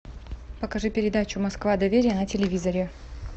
покажи передачу москва доверие на телевизоре